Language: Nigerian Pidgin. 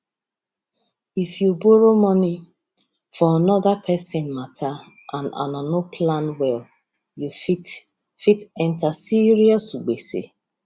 if you borrow money for another person matter and una no plan well you fit fit enter serious gbege